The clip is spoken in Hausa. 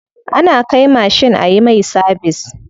Ana kai mashin ayi mai sabis.